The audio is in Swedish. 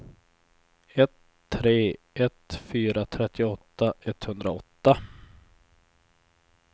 ett tre ett fyra trettioåtta etthundraåtta